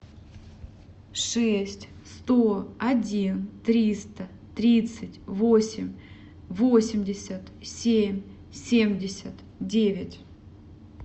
шесть сто один триста тридцать восемь восемьдесят семь семьдесят девять